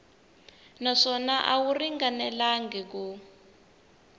naswona a wu ringanelangi ku